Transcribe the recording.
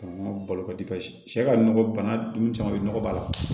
Balo ka cɛ ka nɔgɔ bana ninnu caman bɛ nɔgɔ b'a la